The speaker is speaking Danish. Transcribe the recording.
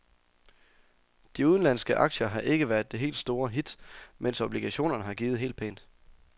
De udenlandske aktier har ikke været det helt store hit, mens obligationerne har givet helt pænt.